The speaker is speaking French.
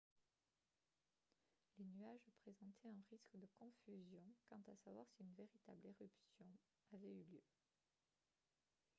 les nuages présentaient un risque de confusion quant à savoir si une véritable éruption avait eu lieu